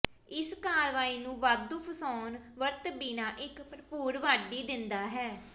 ਇਸ ਕਾਰਵਾਈ ਨੂੰ ਵਾਧੂ ਫਸਾਉਣ ਵਰਤ ਬਿਨਾ ਇੱਕ ਭਰਪੂਰ ਵਾਢੀ ਦਿੰਦਾ ਹੈ